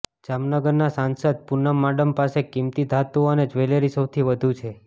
જામનગરના સાંસદ પૂનમ માડમ પાસે કિંમતી ધાતુ અને જવેલરી સૌથી વધુ છે